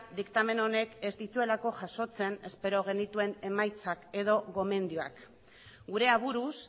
diktamen honek ez dituelako jasotzen espero genituen emaitzak edo gomendioak gure aburuz